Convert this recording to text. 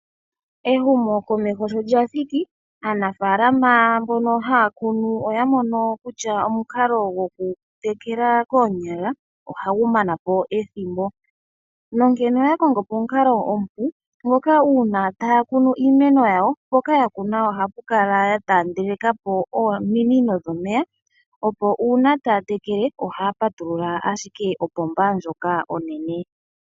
Ehumokomeho sho lya thiki aanafalama mbono oya mono kutya omukalo gokutekela koonyala, ohagu mana po ethimbo nonkene oya kongopo omukalo omupu ngoka uuna taya kunu iimeno yawo, mpoka ya kuna ohaya kala ya tandelekapo ominino dhomeya, opo uuna taya tekele ohaya patulula ashike opomva ndjoka onene.